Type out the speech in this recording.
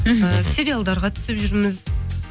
мхм ы сериалдарға түсіп жүрміз